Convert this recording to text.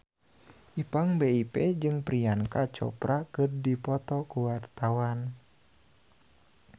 Ipank BIP jeung Priyanka Chopra keur dipoto ku wartawan